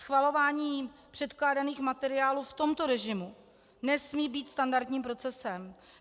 Schvalování předkládaných materiálů v tomto režimu nesmí být standardním procesem.